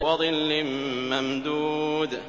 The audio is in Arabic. وَظِلٍّ مَّمْدُودٍ